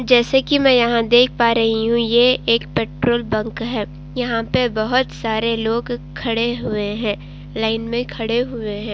जैसे कि मैं यहाँ देख पा रही हूं ये एक पैट्रोल बंक है। यहाँ पर बहुत सारे लोग खड़े हुए हैं। लाइन में खड़े हुए हैं।